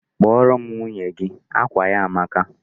Kpọrọ m nwunye gị! Akwa ya a amaka.